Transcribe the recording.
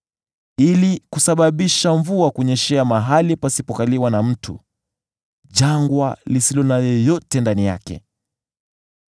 ili kusababisha mvua kunyeshea mahali pasipokaliwa na mtu, jangwa lisilo na yeyote ndani yake,